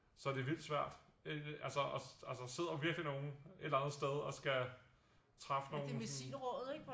Så det er vildt svært altså også der sidder virkelig nogle et eller andet sted og skal træffe nogle